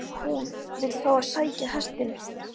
HÚN vill fá að sækja hestinn.